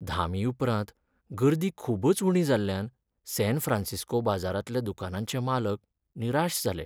धामीउपरांत गर्दी खूबच उणी जाल्ल्यान सॅन फ्रॅन्सिस्को बाजारांतल्या दुकानांचे मालक निराश जाले.